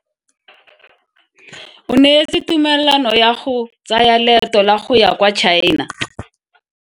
O neetswe tumalano ya go tsaya loeto la go ya kwa China.